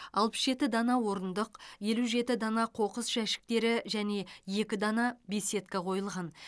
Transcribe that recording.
алпыс жеті дана орындық елу жеті дана қоқыс жәшіктері және екі дана беседка қойылған